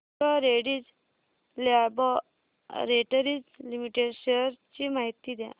डॉ Reddy's laboratories limited shares ची माहिती द्या